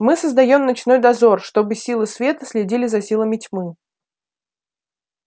мы создаём ночной дозор чтобы силы света следили за силами тьмы